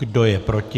Kdo je proti?